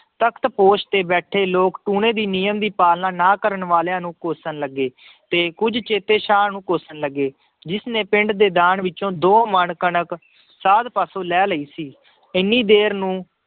ਤਖ਼ਤ ਪੋਸ਼ ਤੇ ਬੈਠੇ ਲੋਕ ਟੂਣੇ ਦੀ ਨਿਯਮ ਦੀ ਪਾਲਣਾ ਨਾ ਕਰਨ ਵਾਲਿਆਂ ਨੂੰ ਕੋਸ਼ਣ ਲੱਗੇ ਤੇ ਕੁੱਝ ਚੇਤੇ ਸ਼ਾਹ ਨੂੰ ਕੋਸ਼ਣ ਲੱਗੇ, ਜਿਸਨੇ ਪਿੰਡ ਦੇ ਦਾਨ ਵਿੱਚੋਂ ਦੋ ਮਣ ਕਣਕ ਸਾਧ ਪਾਸੋਂ ਲੈ ਲਈ ਸੀ, ਇੰਨੀ ਦੇਰ ਨੂੰ